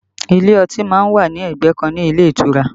Ilé ọtí má ń wà ní ẹgbẹ́ kan ní ilé ìtura